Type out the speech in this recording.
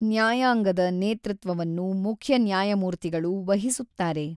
ನ್ಯಾಯಾಂಗದ ನೇತೃತ್ವವನ್ನು ಮುಖ್ಯ ನ್ಯಾಯಮೂರ್ತಿಗಳು ವಹಿಸುತ್ತಾರೆ.